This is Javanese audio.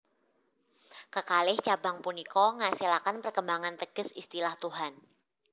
Kekalih cabang punika ngasilaken perkembangan teges istilah Tuhan